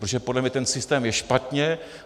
Protože podle mě ten systém je špatně.